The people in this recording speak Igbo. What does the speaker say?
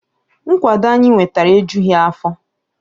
Nkwado anyị nwetara ejughi afọ